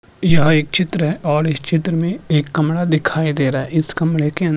यह एक चित्र है और इस चित्र में एक कमरा दिखाई दे रहा है इस कमरे के अंदर --